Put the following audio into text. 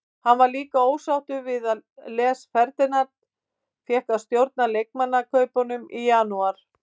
Hann var líka ósáttur við að Les Ferdinand fékk að stjórna leikmannakaupum í janúar.